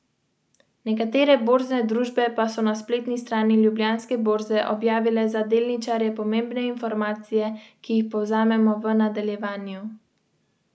V petdesetih in šestdesetih letih je organiziral številna srečanja sodobnih skladateljev in vrsto predavanj o avantgardni glasbi po celem svetu.